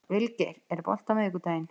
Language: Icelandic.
Vilgeir, er bolti á miðvikudaginn?